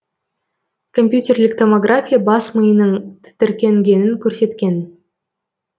компьютерлік томография бас миының тітіркенгенін көрсеткен